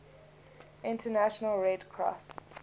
international red cross